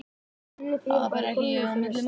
Það fer ekki á milli mála.